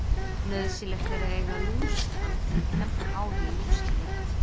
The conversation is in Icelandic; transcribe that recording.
Nauðsynlegt er að eiga lúsakamb til að kemba hár í lúsaleit.